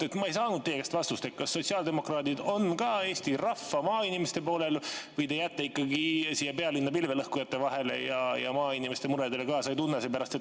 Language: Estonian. Ma ei saanud teie käest vastust, kas sotsiaaldemokraadid on ka Eesti rahva, maainimeste poolel või te jääte ikkagi siia pealinna pilvelõhkujate vahele ja maainimeste muredele kaasa ei tunne.